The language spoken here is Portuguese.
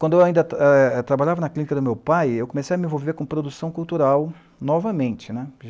Quando eu ainda eh, trabalhava na clínica do meu pai, eu comecei a me envolver com produção cultural, novamente, né.